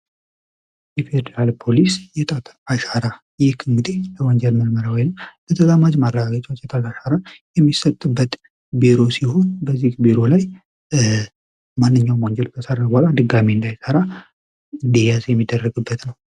የፌዴራል ፖሊስ የጣት አሻራ ይህክምጤ ለወንጀር መርመራ ወልም ለተዛማጅ ማብረጋገቻዎች የተላአሻራ የሚሰትበት ቢሮ ሲሆን ቢሮ ላይ ማንኛው ወንጀል ቢሰረራ በኋላ ድጋሚ እንዳይ ሰራ ዲያስ የሚደረግበት ነው።